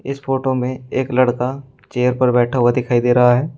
इस फोटो में एक लड़का चेयर पर बैठा हुआ दिखाई दे रहा है।